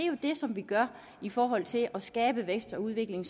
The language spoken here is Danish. jo det som vi gør i forhold til at skabe vækst og udvikling